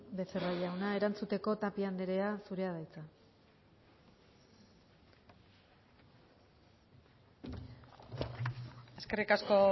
becerra jauna erantzuteko tapia anderea zurea da hitza eskerrik asko